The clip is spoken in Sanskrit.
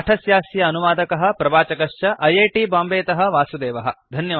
पाठस्यास्य अनुवादकः प्रवाचकश्च ऐ ऐ टी बाम्बेतः वासुदेवः